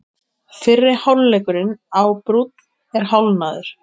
Fyrri hálfleikurinn á Brúnn er hálfnaður